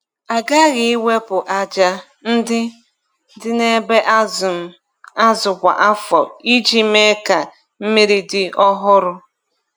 A ghaghị iwepụ aja ndị dị na ebe azụm azụ kwa afọ iji mee ka mmiri dị ọhụrụ.